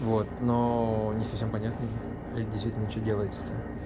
вот но не совсем понятно действительно что делается то